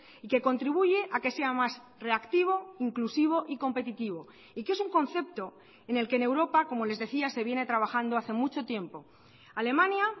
y que contribuye a que sea más reactivo inclusivo y competitivo y que es un concepto en el que en europa como les decía se viene trabajando hace mucho tiempo alemania